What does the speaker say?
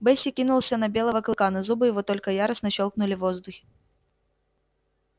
бэсик кинулся на белого клыка но зубы его только яростно щёлкнули в воздухе